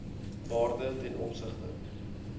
waarde ten opsigte